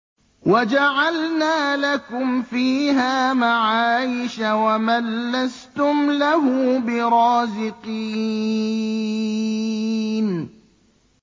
وَجَعَلْنَا لَكُمْ فِيهَا مَعَايِشَ وَمَن لَّسْتُمْ لَهُ بِرَازِقِينَ